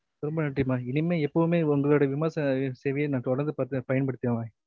ரொம்ப நன்றிமா இனிம்மே எப்போதுமே உங்களோட விமான சேவையே தொடர்ந்து பயன்படுத்துகிறேன்